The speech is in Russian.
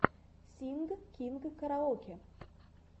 синг кинг караоке